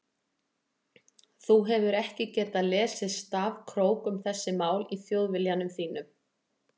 Þú hefur ekki getað lesið stafkrók um þessi mál í Þjóðviljanum þínum.